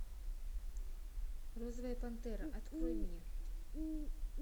розовая пантера открой мне